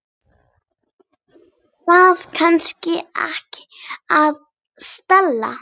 Það kann ekki að stela.